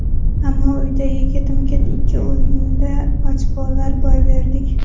Ammo uydagi ketma-ket ikki o‘yinda ochkolarni boy berdik.